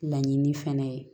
Laɲini fɛnɛ ye